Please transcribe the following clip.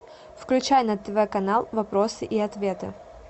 включай на тв канал вопросы и ответы